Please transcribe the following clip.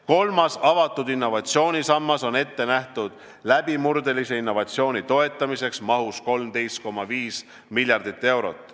Kolmas, avatud innovatsiooni sammas on ette nähtud läbimurdelise innovatsiooni toetamiseks mahus 13,5 miljardit eurot.